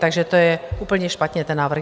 Takže to je úplně špatně, ten návrh.